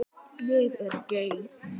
Ég svík